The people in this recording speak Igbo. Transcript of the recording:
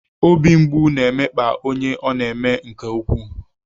Obi mgbu na-emekpa onye ọ na-eme nke ukwuu.